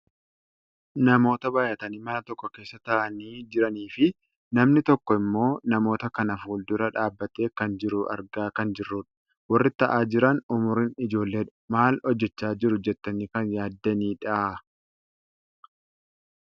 Namoota baayyatanii mana tokko keessa taa'anii jiraniifi namni tokko ammoo namoota kana fuuldura dhaabbatee kan jiru argaa kan jirrudha. Warri taa'aa jiran umuriin ijoolleedha. Maal hojjachaa jiru jettanii kan yaaddanidha?